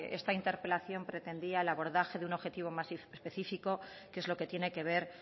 esta interpelación pretendía el abordaje de un objetivo más específico que es lo que tiene que ver